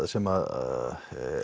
sem